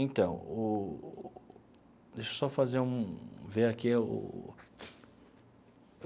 Então o, deixa eu só fazer um ver aqui o.